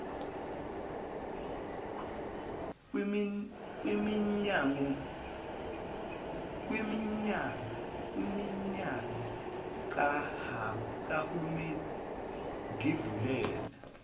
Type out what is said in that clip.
kwiminyano kahulimeni ngivumele